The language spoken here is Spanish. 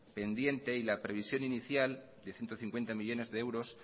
pendiente y la previsión inicial de ciento cincuenta millónes de euros